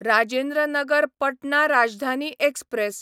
Rajendra Nagar Patna Rajdhani express